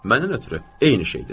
Məndən ötrü eyni şeydir.